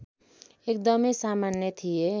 एकदमै सामान्य थिए